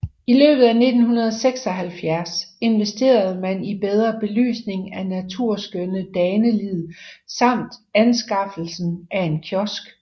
I løbet af 1976 investerede man i bedre belysning af naturskønne Danelid samt anskaffelsen af en kiosk